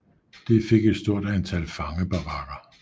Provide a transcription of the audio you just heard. Det fik et stort antal fangebarakker